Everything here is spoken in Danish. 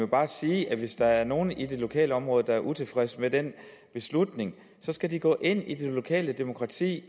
bare sige at hvis der er nogen i det lokale område der er utilfredse med den beslutning skal de gå ind i det lokale demokrati